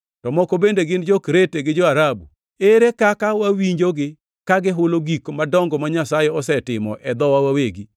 To moko bende gin jo-Krete gi jo-Arabu. Ere kaka wawinjogi ka gihulo gik madongo ma Nyasaye osetimo e dhowa wawegi!”